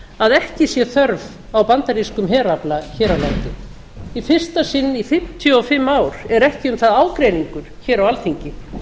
að ekki sé þörf á bandarískum herafla hér á landi í fyrsta sinn í fimmtíu og fimm ár er ekki um það ágreiningur hér á alþingi